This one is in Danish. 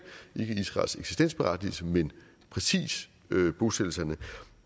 ikke israels eksistensberettigelse men præcis bosættelserne